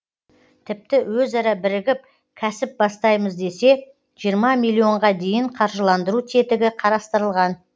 тіпті өзара бірігіп кәсіп бастаймыз десе жиырма миллионға дейін қаржылдандыру тетігі қарастырылған